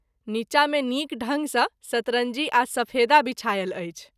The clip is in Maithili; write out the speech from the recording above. नीचा मे नीक ढंग सँ सतरंजी आ सफेदा विछायल अछि।